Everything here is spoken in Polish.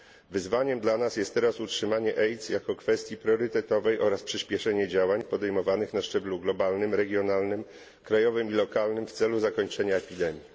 Wyzwaniem dla nas jest teraz utrzymanie AIDS jako kwestii priorytetowej oraz przyspieszenie działań podejmowanych na szczeblu globalnym, regionalnym, krajowym i lokalnym w celu zakończenia epidemii.